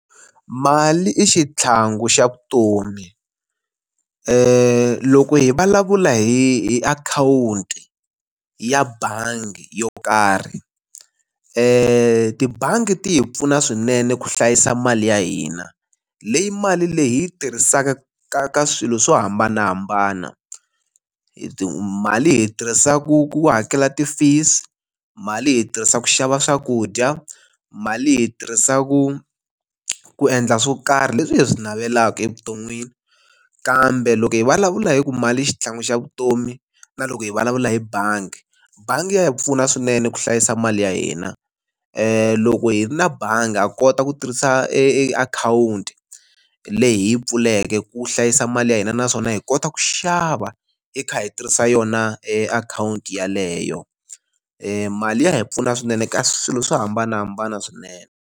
Mali i xitlhangu xa vutomi. loko hi vulavula hi hi akhawunti ya bangi yo karhi, tibangi ti hi pfuna swinene ku hlayisa mali ya hina. Leyi mali leyi hi yi tirhisaka ka ka swilo swo hambanahambana. mali hi yi tirhisa ku ku hakela ti-fees, mali hi yi tirhisaka ku xava swakudya, mali hi yi tirhisa ku ku endla swo karhi leswi hi swi navelaka evuton'wini. Kambe loko hi vulavula hi ku mali i xitlhangu xa vutomi, na loko hi vulavula hi bangi. Bangi ya hi pfuna swinene ku hlayisa mali ya hina. Loko hi ri na bangi ha kota ku tirhisa e e akhawunti leyi hi yi pfuleke ku hlayisa mali ya hina, naswona hi kota ku xava hi kha hi tirhisa yona akhawunti yeleyo. mali ya hi pfuna swinene ka swilo swo hambanahambana swinene.